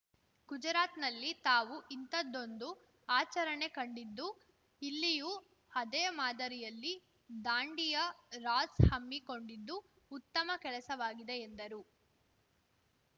ಗುಜರಾತ್‌ನಲ್ಲಿ ತಾವು ಇಂಥದ್ದೊಂದು ಆಚರಣೆ ಕಂಡಿದ್ದು ಇಲ್ಲಿಯೂ ಅದೇ ಮಾದರಿಯಲ್ಲಿ ದಾಂಡಿಯಾ ರಾಸ್‌ ಹಮ್ಮಿಕೊಂಡಿದ್ದು ಉತ್ತಮ ಕೆಲಸವಾಗಿದೆ ಎಂದರು